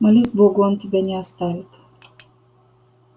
молись богу он тебя не оставит